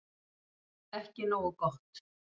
Ekki nógu gott